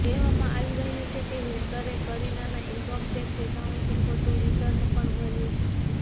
કહેવામાં આવી રહ્યું છે કે હેકરે કરીનાના ઈનકમ ટેક્સ અકાઉન્ટથી ખોટું રિટર્ન પણ ભર્યુ છે